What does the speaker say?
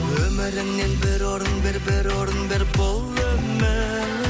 өміріңнен бір орын бер бір орын бер бұл өмір